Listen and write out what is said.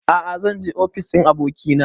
A'a zan je ofis ɗin abokina